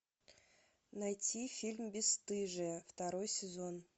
найти фильм бесстыжие второй сезон